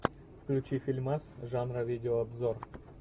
включи фильмас жанра видеообзор